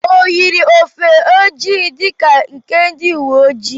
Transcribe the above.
O yiri ofe ojii dịka nke ndị uwe ọjị?